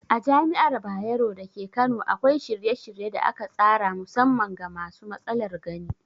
A Jami'ar Bayero dake Kano akwai shirye-shirye da aka tsara musamman ga masu matsalar gani.